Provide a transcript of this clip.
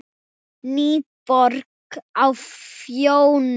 NÝBORG Á FJÓNI